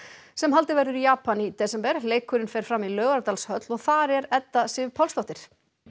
sem haldið verður í Japan í desember leikurinn fer fram í Laugardalshöll og þar er Edda Sif Pálsdóttir